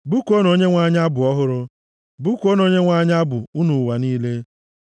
Bụkuonụ Onyenwe anyị abụ ọhụrụ, bụkuonụ Onyenwe anyị abụ, unu ụwa niile.